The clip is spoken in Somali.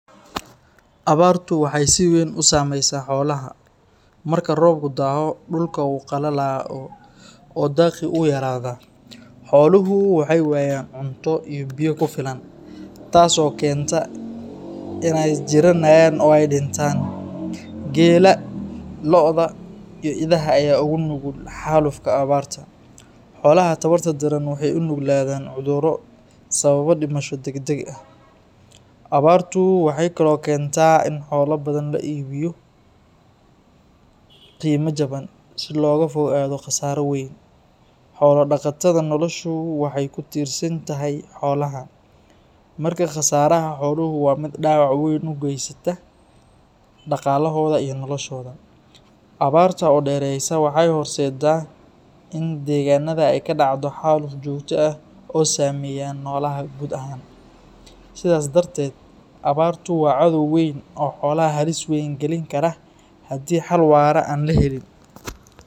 Abaartu waxay si weyn u saameysaa xoolaha. Marka roobku daaho, dhulka wuu qalalaa oo daaqii wuu yaraadaa. Xooluhu waxay waayaan cunto iyo biyo ku filan, taas oo keenta in ay jirranayaan oo ay dhintaan. Geela, lo’da, iyo idaha ayaa ugu nugul xaalufka abaarta. Xoolaha tabarta daran waxay u nuglaadaan cudurro sababa dhimasho degdeg ah. Abaartu waxay kaloo keentaa in xoolo badan la iibiyo qiime jaban si looga fogaado khasaaro weyn. Xoolo-dhaqatada noloshoodu waxay ku tiirsan tahay xoolaha, marka khasaaraha xooluhu waa mid dhaawac weyn u geysta dhaqaalahooda iyo noloshooda. Abaarta oo dheeraysa waxay horseeddaa in deegaanada ay ka dhacdo xaaluf joogto ah oo saameeya noolaha guud ahaan. Sidaas darteed, abaartu waa cadow weyn oo xoolaha halis weyn gelin kara haddii xal waara aan la helin.